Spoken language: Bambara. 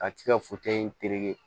A ti ka in terete